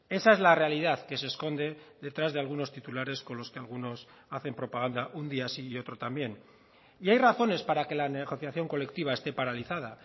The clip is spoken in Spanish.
esa es la realidad que se esconde detrás de algunos titulares con los que algunos hacen propaganda un día sí y otro también y hay razones para que la negociación colectiva esté paralizada